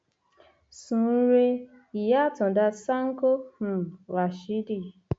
sún un rèé ìyá àtàǹdá sankọ um ràṣìdì